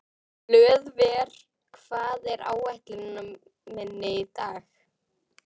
Hlöðver, hvað er á áætluninni minni í dag?